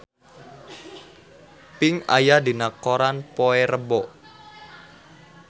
Pink aya dina koran poe Rebo